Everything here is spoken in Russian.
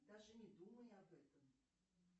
даже не думай об этом